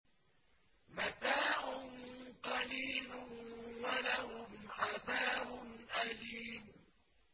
مَتَاعٌ قَلِيلٌ وَلَهُمْ عَذَابٌ أَلِيمٌ